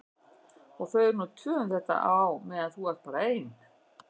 Og þau eru nú tvö um þetta á meðan þú ert bara ein.